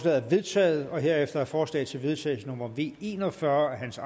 er vedtaget herefter er forslag til vedtagelse nummer v en og fyrre af hans